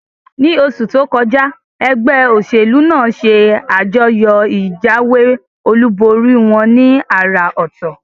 Ní osù tókọjá, egbé òsèlú nàá se àjọyò ìjáwé olúborí wón ní àrà òtò